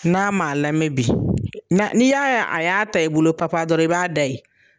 N'a m'a lamɛn bi na n'i y'a ye a y'a ta i bolo papa dɔrɔn i b'a da ye.